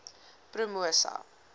promosa